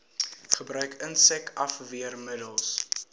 gebruik insek afweermiddels